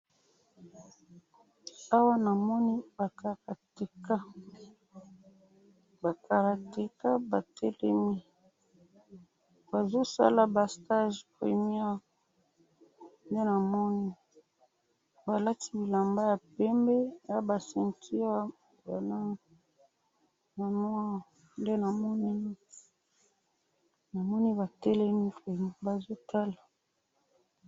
awa namoni ba karateka ba karateka batelemi bazo sala ba stage union nde namoni balati bilamba ya pembe naba seinture ya noir nde namoni .namoni batelemi bazo tala